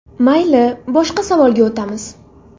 Mayli, boshqa savolga o‘tamiz.